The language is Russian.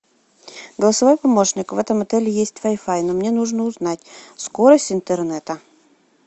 голосовой помощник в этом отеле есть вай фай но мне нужно узнать скорость интернета